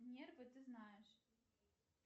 нервы ты знаешь